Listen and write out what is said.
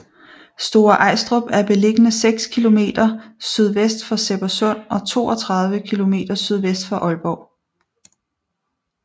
Store Ajstrup er beliggende seks kilometer sydvest for Sebbersund og 32 kilometer sydvest for Aalborg